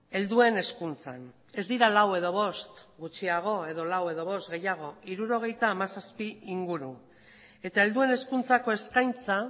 helduen hezkuntzan ez dira lau edo bost gutxiago edo lau edo bost gehiago hirurogeita hamazazpi inguru eta helduen hezkuntzako eskaintza